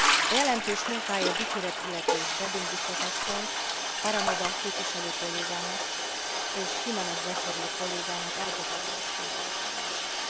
A jelentős munkáért dicséret illeti Reding biztos asszonyt, Parvanova képviselő kollégámat, és Jiménez Becerril kollégámat elkötelezettségéért különösen.